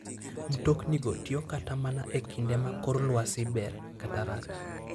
Mtoknigo tiyo kata mana e kinde ma kor lwasi ber kata rach.